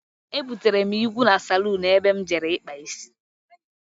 Ebutere m ìgwu na salún ebe m jere ikpa isi.